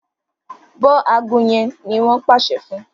bó ago yén ní wón pàṣẹ fún